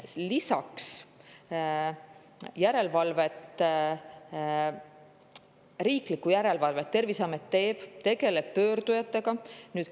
Lisaks, Terviseamet teeb riiklikku järelevalvet ja tegeleb pöördujatega.